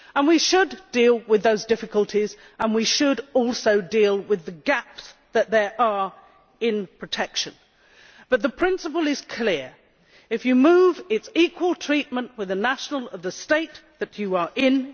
We should deal with those difficulties, and we should also deal with the gaps that there are in protection. But the principle is clear. If you move, there is equal treatment with the nationals of the state that you are in.